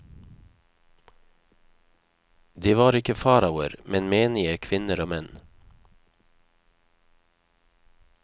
De var ikke faraoer, men menige kvinner og menn.